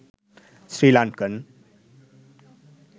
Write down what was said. sri lankan